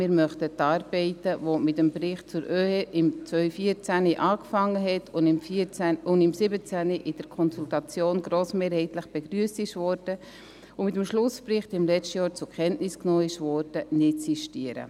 Wir möchten die Arbeiten, welche mit dem Bericht zum OeHE im Jahr 2014 begonnen, im Jahr 2017 in der Konsultation grossmehrheitlich begrüsst und mit dem Schlussbericht im letzten Jahr zur Kenntnis genommen wurden, nicht sistieren.